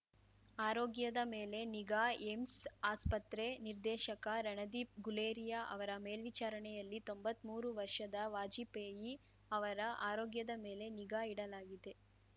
ಆರೋಗ್ಯದ ಮೇಲೆ ನಿಗಾ ಏಮ್ಸ್ ಆಸ್ಪತ್ರೆ ನಿರ್ದೇಶಕ ರಣದೀಪ್‌ ಗುಲೇರಿಯಾ ಅವರ ಮೇಲ್ವಿಚಾರಣೆಯಲ್ಲಿ ತೊಂಬತ್ಮೂರು ವರ್ಷದ ವಾಜಪೇಯಿ ಅವರ ಆರೋಗ್ಯದ ಮೇಲೆ ನಿಗಾ ಇಡಲಾಗಿದೆ